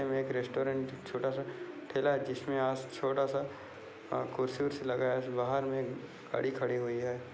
इनमे एक रैस्टौरेंट छोटा सा ठेला है। जिसमे आस छोटा सा आह कुर्सी बीर्सी लगाया है। बाहर में गाड़ी खड़ी हुई है।